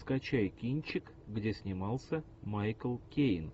скачай кинчик где снимался майкл кейн